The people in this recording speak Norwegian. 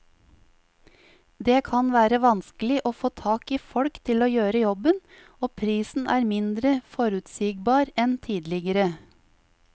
Det kan være vanskelig å få tak i folk til å gjøre jobben, og prisen er mindre forutsigbar enn tidligere.